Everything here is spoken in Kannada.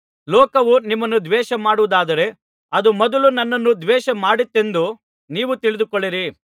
ಲೋಕವು ನಿಮ್ಮನ್ನು ದ್ವೇಷ ಮಾಡುವುದಾದರೆ ಅದು ಮೊದಲು ನನ್ನನ್ನು ದ್ವೇಷ ಮಾಡಿತ್ತೆಂದು ನೀವು ತಿಳಿದುಕೊಳ್ಳಿರಿ